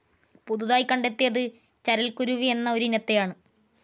പുതുതായി കണ്ടെത്തിയത് ചരൽക്കുരുവി എന്ന ഒരിനത്തെയാണ്.